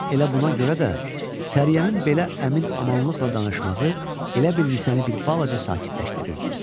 Yəqin elə buna görə də Səriyənin belə əmin-amanlıqla danışmağı elə bil Nisəni bir balaca sakitləşdirirdi.